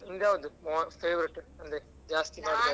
ನಿಮ್ದ್ ಯಾವುದು mos~ favourite ಅಂದ್ರೆ ಜಾಸ್ತಿ ಮಾಡ್ತೀರಿ?